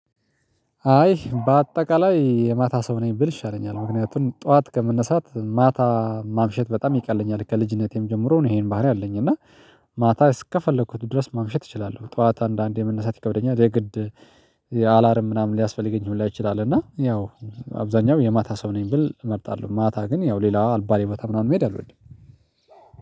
አይ በአጠቃላይ የማታ ሰው ነኝ ብል ይሻለኛል ምክንያቱም ጠዋት ከመነሳት ማታ ማምሸት በጣም ይቀለኛል ከልጅነቴም ጀምሮ ነው ይሄን ባህሪ አለኝ እና ማታ እስከፈለኩት ድረስ ማምሸት እችላለሁ። ጠዋት አንዳንዴ መነሳት ይከብደኛል የግድ አላርም ምናምን ሊያስፈልገኝ ሁላ ይችላል። እና ያው አብዛኛው የማታ ሰው ነኝ ብል እመርጣለሁ። ማታ ግን ያው ሌላ አልባሌ ቦታ ምናምን መሄድ አልወድም።